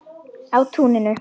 Á túninu.